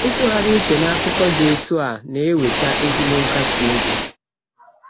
Ịtụgharị uche n’akụkọ dị otu a na-eweta ezigbo nkasi obi.